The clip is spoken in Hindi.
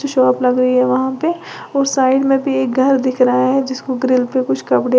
शॉप लग रही है वहां पे और साइड में भी एक घर दिख रहा है जिसको ग्रिल पे कुछ कपड़े--